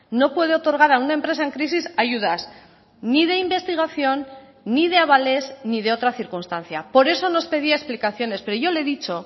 no puede otorgar a una empresa en crisis ayudas ni de investigación ni de avales ni de otra circunstancia por eso nos pedía explicaciones pero yo le he dicho